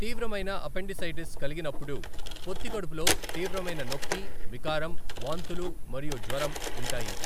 తీవ్రమైన అపెండిసైటిస్ కలిగినప్పుడు పొత్తికడుపులో తీవ్రమైన నొప్పి, వికారం, వాంతులు మరియు జ్వరం ఉంటాయి.